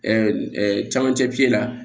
camancɛ la